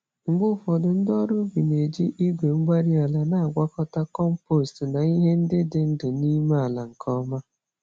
Mgbe ufodu, ndị ọrụ ubi na-eji igwe-mgbárí-ala na-agwakọta kompost na ihe ndị dị ndụ n'ime ala nke ọma.